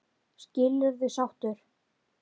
Skilurðu sáttur?